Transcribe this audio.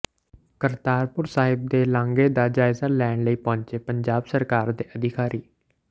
ਕਰਤਾਰਪੁਰ ਸਾਹਿਬ ਦੇ ਲਾਂਘੇ ਦਾ ਜਾਇਜ਼ਾ ਲੈਣ ਲਈ ਪਹੁੰਚੇ ਪੰਜਾਬ ਸਰਕਾਰ ਦੇ ਅਧਿਕਾਰੀ